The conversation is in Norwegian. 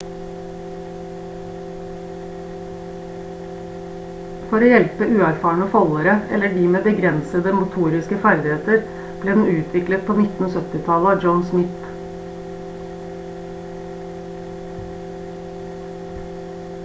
for å hjelpe uerfarne foldere eller de med begrensede motoriske ferdigheter ble den utviklet på 1970-tallet av john smith